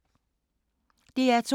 DR2